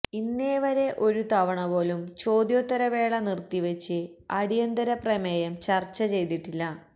ഇന്നേവരെ ഒരു തവണപോലും ചോദ്യോത്തരവേള നിര്ത്തിവച്ച് അടിയന്തര പ്രമേയം ചര്ച്ച ചെയ്തിട്ടില്ല